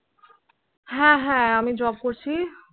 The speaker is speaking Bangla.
হ্য়াঁ হ্য়াঁ, আমি Job করছি।